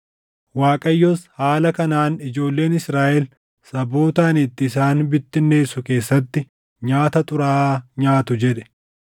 Waaqayyos “Haala kanaan ijoolleen Israaʼel saboota ani itti isaan bittinneessu keessatti nyaata xuraaʼaa nyaatu” jedhe.